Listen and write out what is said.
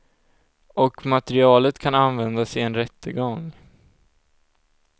Och materialet kan användas i en rättegång.